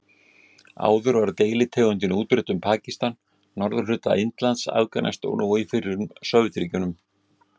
Áður var deilitegundin útbreidd um Pakistan, norðurhluta Indlands, Afganistan og í fyrrum Sovétríkjunum.